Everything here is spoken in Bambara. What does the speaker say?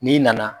N'i nana